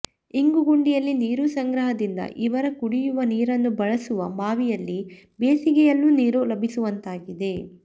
ಇಂಗು ಗುಂಡಿಯಲ್ಲಿ ನೀರು ಸಂಗ್ರಹದಿಂದ ಇವರ ಕುಡಿಯುವ ನೀರನ್ನು ಬಳಸುವ ಬಾವಿಯಲ್ಲಿ ಬೇಸಿಗೆ ಯಲ್ಲೂ ನೀರು ಲಭಿಸುವಂತಾಗಿದೆ